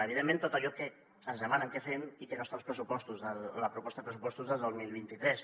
evidentment tot allò que ens demanen que fem i que no està als pressupostos a la proposta de pressupostos del dos mil vint tres